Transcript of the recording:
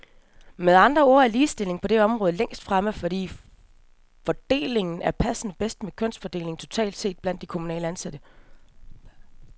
Med andre ord er ligestillingen på det område længst fremme, fordi fordelingen her passer bedst med kønsfordelingen totalt set blandt de kommunalt ansatte.